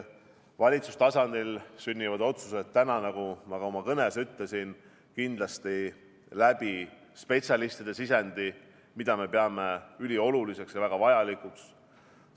Valitsustasandil sünnivad otsused, nagu ma ka oma kõnes ütlesin, kindlasti petsialistide sisendi abil, mida me peame ülioluliseks ja väga vajalikuks.